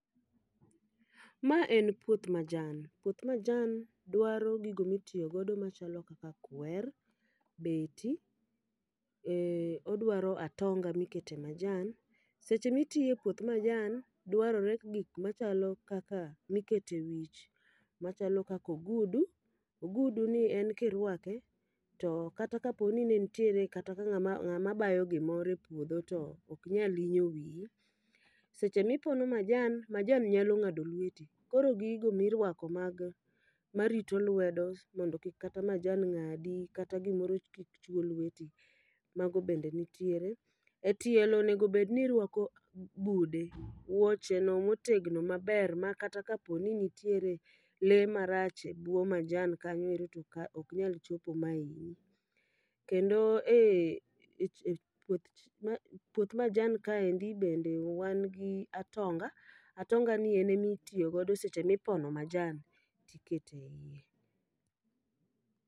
Ma en puoth majan, puoth majan dwaro gigo mitiyo godo machalo kaka kwer, beti, ee odwaro atonga mikete majan. Seche mitiye puoth majan, dwarore gik machalo kaka mikete wich machalo kakogudu. Ogudu ni en kirwake to kata kapo ni ne nitiere kata ka ng'ama ng'a ma bayo gimoro e puodho to ok nyal yiewo wiyi. Seche mipono majan, majan nyalo ng'ado lweti. Koro gigo mirwako mag marito lwedo mondo kik kata majan ng'adi, kata gimoro kik chwo lweti, mago bende nitiere. E tielo onegobedni irwako bude, wuoche no motegno maber ma kata kapo ni nitiere le marach ebwo majan kanyoero to ok nya chopo ma hinyi. Kendo e e puoth majan kaendi bende wan gi atonga, atonga ni en emitiyo godo seche mipono majan tikete iye.